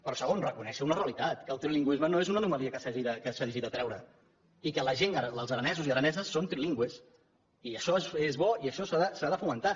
però segon reconèixer una realitat que el trilingüisme no és una anomalia que s’hagi de treure i que la gent els aranesos i araneses són trilingües i això és bo i això s’ha de fomentar